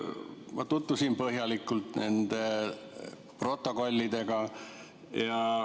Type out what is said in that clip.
Ma tutvusin põhjalikult protokollidega.